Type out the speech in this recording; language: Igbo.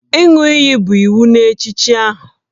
Ịṅụ iyi bụ iwu n'echichi ahụ